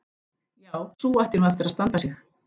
Já, sú ætti nú eftir að standa sig.